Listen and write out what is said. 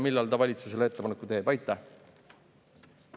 Millal ta valitsusele ettepaneku teeb?